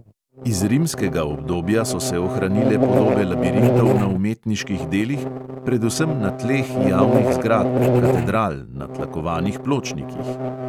Iz rimskega obdobja so se ohranile podobe labirintov na umetniških delih, predvsem na tleh javnih zgradb, katedral, na tlakovanih pločnikih.